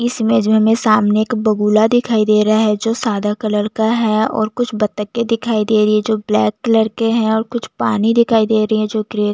इस इमेज में हमें सामने एक बगुला दिखाई दे रहा है जो सादा कलर का है और कुछ बत्तके दिखाई दे री है जो ब्लैक कलर के है और कुछ पानी दिखाई दे रही है जो ग्रे --